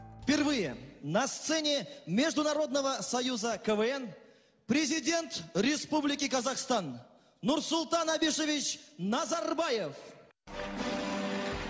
в первые на сцене международного союза квн президент республики казахстан нурсултан абишович назарбаев